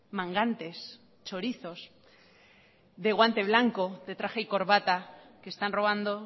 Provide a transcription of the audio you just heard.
mangantes chorizos de guante blanco de traje y corbata que están robando